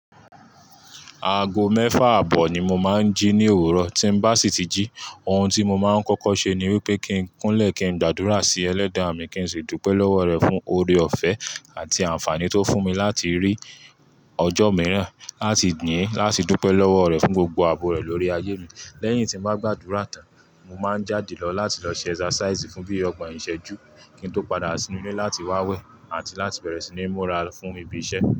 Aago mẹ́fà àbọ̀ ni mo máa ń jí ní òwúrọ̀. Tí n bá sì tí jí, ohun tí mo máa ń kọ́kọ́ ṣe ni wípé kí n kúnlẹ̀ kí n gbàdúrà sí Ẹlẹ́dàá mi kí n sì dúpẹ́ lọ́wọ́ rẹ̀ fún oore-ọ̀fẹ́ àti àǹfààní tó fún mi láti rí ọjọ́ mìíràn láti gbin, láti dúpẹ́ lọ́wọ́ rẹ̀ fún gbogbo àbò rẹ̀ lórí ayé mi. Lẹ́yìn tí n bá gbàdúrà tán, mo máa ń jáde lọ láti lọ ṣe exercise fún bí i ọgbọ̀n ìṣẹ́jú kí n tó padà sínú ilé láti wá wẹ̀ àti láti bẹ̀rẹ̀ sí ní múra fún ibi iṣẹ́